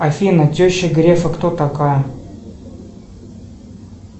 афина теща грефа кто такая